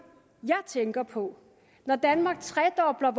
jeg tænker på når danmark tredobler